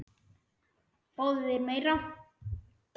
Fáðu þér meira!